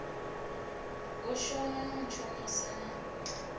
u shona no ntshonisa na